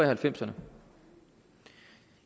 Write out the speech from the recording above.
halvfemserne